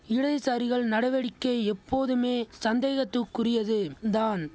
இடதுசாரிகள் நடவடிக்கை எப்போதுமே சந்தேகத்துக்குரியது தான்